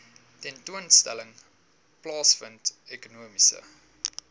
tentoonstelling plaasvind ekonomiese